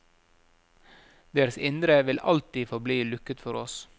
Deres indre vil alltid forbli lukket for oss.